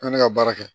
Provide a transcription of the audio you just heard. An ne ka baara kɛ